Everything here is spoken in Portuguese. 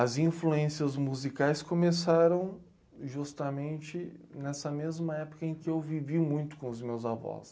As influências musicais começaram justamente nessa mesma época em que eu vivi muito com os meus avós.